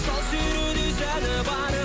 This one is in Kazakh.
сал серідей сәні бар